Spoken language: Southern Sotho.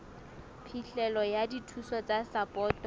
phihlelo ya dithuso tsa sapoto